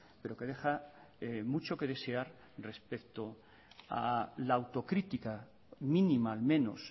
pero que deja mucho que desear respecto a la autocrítica mínima al menos